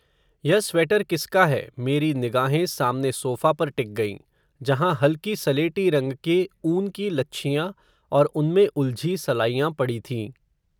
यह स्वेटर किसका है मेरी निगाहें सामने सोफ़ा पर टिक गईं, जहाँ हल्की सलेटी रंग के ऊन की लच्छियां, और उनमें उलझी सलाइयां पड़ी थीं